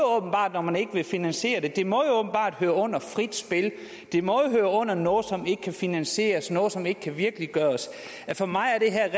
åbenbart når man ikke vil finansiere det høre under frit spil det må høre under noget som ikke kan finansieres noget som ikke kan virkeliggøres for mig er det her